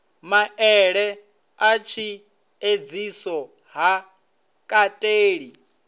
maele a tshiedziso ha kateli